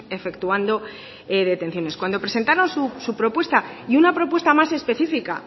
efectuando detenciones cuando presentaron su propuesta y una propuesta más específica